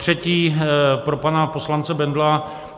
Zatřetí pro pana poslance Bendla.